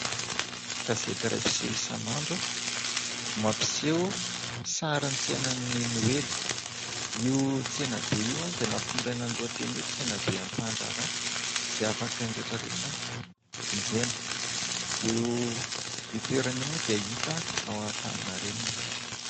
Gazety iray mpiseho isan'andro no mampiseho sarin'ny tsenan'ny noely. Io tsenabe io dia nampitondraina ny lohateny hoe tsenaben'ny mpandraharaha. Izay afaka ny rehetra rehetra vonjena. Io toerana io moa dia hita ao Antaninarenina.